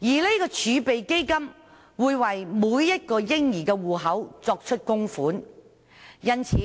這個儲備基金會為每個嬰兒戶口供款，因此，